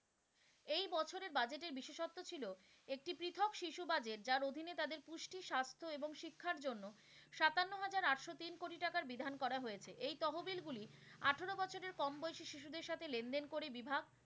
এই বছরে budget এর বিশেষত্ব ছিল একটি পৃথক শিশু budget যার অধীনে তাদের পুষ্টি, স্বাস্থ্য এবং শিক্ষার জন্য সাতান্ন হাজার আটশো তিন কোটি টাকার বিধান করা হয়েছে, এই তহবিল গুলি আঠারো বছরের কম বয়সী শিশুদের সাথে লেনদেন করে বিভাগ,